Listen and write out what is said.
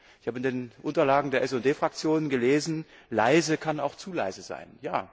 Ich habe in den Unterlagen der SD Fraktion gelesen Leise kann auch zu leise sein.